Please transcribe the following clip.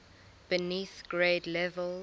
beneath grade levels